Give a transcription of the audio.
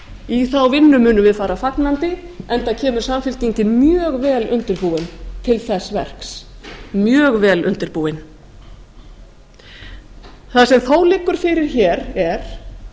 í þá vinnu munum við fara fagnandi enda kemur samfylkingin mjög vel undirbúin til þess verks mjög vel undirbúin það sem þó liggur fyrir hér er